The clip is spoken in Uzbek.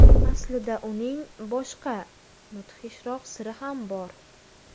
Aslida uning boshqa, mudhishroq siri ham bor.